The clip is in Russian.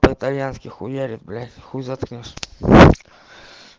по итальянски хуярит блядь хуй заткнёшь